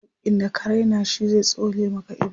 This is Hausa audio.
hakkin da ka Raina shi zai tsole Maka ido